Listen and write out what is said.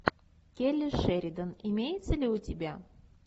келли шеридан имеется ли у тебя